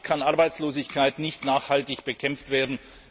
Damit kann Arbeitslosigkeit nicht nachhaltig bekämpft werden.